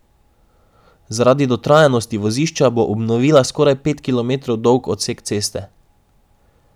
Zaradi dotrajanosti vozišča bo obnovila skoraj pet kilometrov dolg odsek ceste.